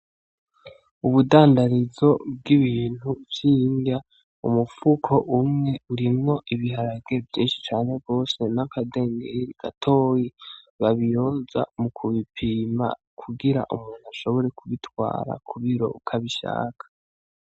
Ubudandarizo bwibintu vyindya, umufuko umwe urimwo ibiharage vyinshi cane gose nakagemeri gatoya babiyoza mukubipima kugira umuntu ashobore kubitwara kubiro uko abishaka.